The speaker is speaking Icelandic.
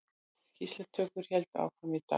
Skýrslutökur héldu áfram í dag